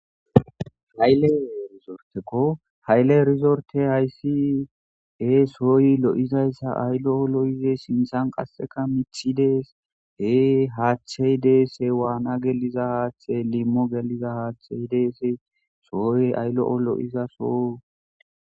Haylle rizorteko hayle rizorte haysi ee sooyi lo'izayssa aylo'o lo'ize simsan qasseka mithi dees hee haaththey deese waana geliza haaththe limmo geliza haaththey deese sooy ayl'o lo'izaso.